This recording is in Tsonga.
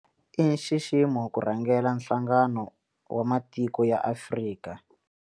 I nxiximo ku rhangela Nhlangano wa Matiko ya Afrika.